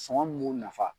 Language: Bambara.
Sɔngɔ min b'o nafa